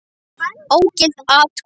Ógild atkvæði